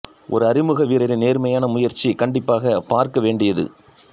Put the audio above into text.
ஒரு அறிமுக வீரரின் நேர்மையான முயற்சி கண்டிப்பாக பார்க்க வேண்டியது